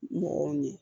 Mɔgɔw ɲɛ